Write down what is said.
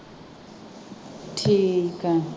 ਠੀਕ ਹੈ।